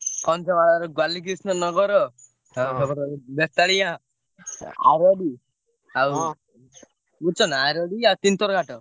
କନ୍ଧମାଳରେ ବାଲିକ୍ରୀଷ୍ଣା ନଗର ସେପଟେ ହଉଛି ବେତାଳିଆ, ଆରଡି ଆଉ ବୁଝୁଛନା ଆରଡି ଆଉ ତିନିତର ଘାଟ।